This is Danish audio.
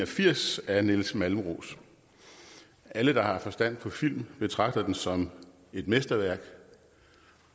og firs af nils malmros alle der har forstand på film betragter den som et mesterværk